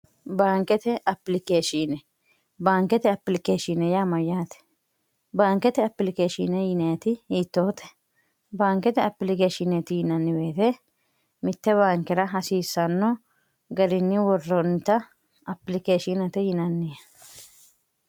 baankete apilikeeshiine baankete apilikeeshine yaamayyaate baankete apilikeeshiine yineeti yiittoote baankete apilikeeshineeti yinanniweete mitte baankira hasiissanno gariinni worroonnita apilikeeshiinete yinanniye